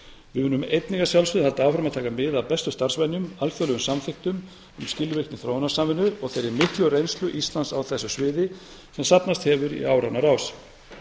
munum einnig að sjálfsögðu halda áfram að taka mið af bestu starfsvenjum alþjóðlegum samþykktum um skilvirkni þróunarsamvinnu og þeirri miklu reynslu íslands á þessu sviði sem safnast hefur saman í áranna rás